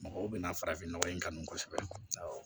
Mɔgɔw bɛna farafin nɔgɔ in kanu kosɛbɛ